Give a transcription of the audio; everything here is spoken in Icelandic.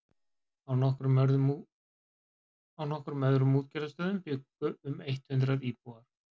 á nokkrum öðrum útgerðarstöðum bjuggu um eitt hundruð íbúar